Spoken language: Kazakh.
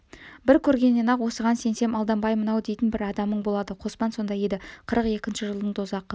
бір көргеннен-ақ осыған сенсем алданбаймын-ау дейтін бір адамың болады қоспан сондай еді қырық екінші жылдың дозақы